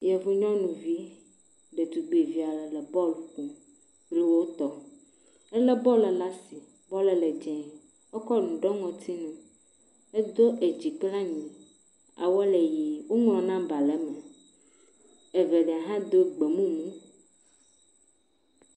Yevu nyɔnuvi ɖetugbivi aɖe le bɔl ƒom kple wo tɔwo. Ele bɔl ɖe asi bɔl le dzie. Ekɔ nu ɖɔ ŋɔtsinu, edo edzi kpla anyi. Awua le ʋi. woŋlɔ nɔmba ɖe eme. Evelia hã do gbemumu.